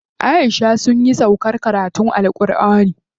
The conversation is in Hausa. Aisha sunyi sauƙar karatun AlƘurʼani yau.